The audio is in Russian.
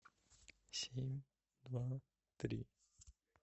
семь два три